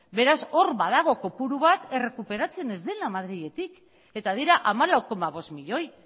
beraz hor badago kopuru bat errekuperatzen ez dena madriletik eta dira hamalau koma bost milioi